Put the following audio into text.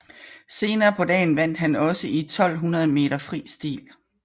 Senere på dagen vandt han også i 1200 meter fri stil